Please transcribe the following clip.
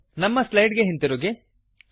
ನಮ್ಮ ಸ್ಲೈಡ್ ಗೆ ಹಿಂದಿರುಗಿ